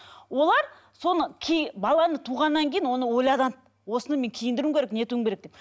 олар соны баланы туғаннан кейін оны ойланады осыны мен киіндіруім керек не етуім керек деп